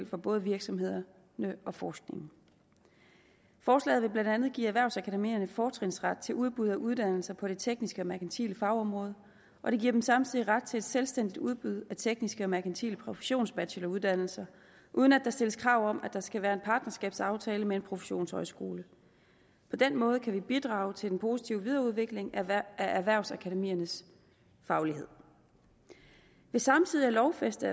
for både virksomhederne og forskningen forslaget vil blandt andet give erhvervsakademierne fortrinsret til at udbyde uddannelser på det tekniske og merkantile fagområde og det giver dem samtidig ret til et selvstændigt udbud af tekniske og merkantile professionsbacheloruddannelser uden at der stilles krav om at der skal være en partnerskabsaftale med en professionshøjskole på den måde kan vi bidrage til den positive videreudvikling af erhvervsakademiernes faglighed ved samtidig at lovfæste